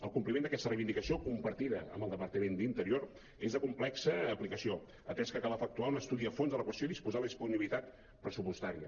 el compliment d’aquesta reivindicació compartida amb el departament d’interior és de complexa aplicació atès que cal efectuar un estudi a fons de la qüestió i disposar de disponi·bilitat pressupostària